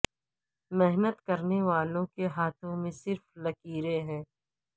محنت کرنے والوں کے ہاتھوں میں صرف لکیریں ہیں